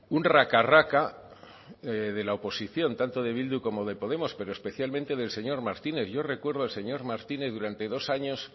un raca raca de la oposición tanto de bildu como de podemos pero especialmente del señor martínez yo recuerdo al señor martínez durante dos años